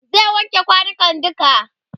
zai wanke kwanukan duka